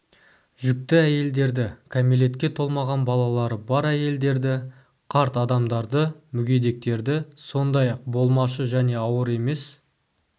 жүкті әйелдерді кәмелетке толмаған балалары бар әйелдерді қарт адамдарды мүгедектерді сондай-ақ болмашы және ауыр емес